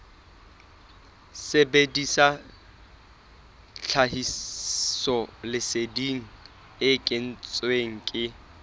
sebedisa tlhahisoleseding e kentsweng ke